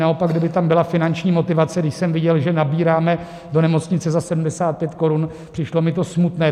Naopak kdyby tam byla finanční motivace - když jsem viděl, že nabíráme do nemocnice za 75 korun, přišlo mi to smutné.